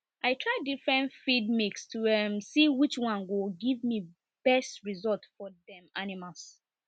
i try different feed mix to um see which one go give me best result for dem animals